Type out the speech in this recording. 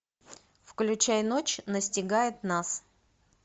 включай ночь настигает нас